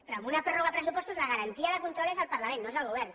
però en una pròrroga de pressupostos la garantia de control és el parlament no és el govern